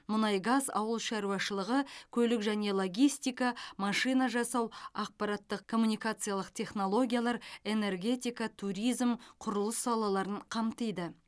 мұнай газ ауыл шаруашылығы көлік және логистика машина жасау ақпараттық коммуникациялық технологиялар энергетика туризм құрылыс салаларын қамтиды